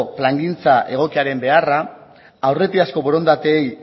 plangintza egokiaren beharra aurretiazko borondateei